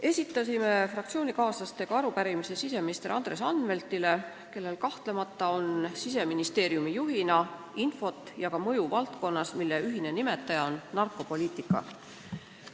Esitasin koos fraktsioonikaaslastega arupärimise siseminister Andres Anveltile, kellel kahtlemata on Siseministeeriumi juhina infot selle valdkonna kohta, mille ühine nimetaja on narkopoliitika, ja tal on selles valdkonnas ka mõju.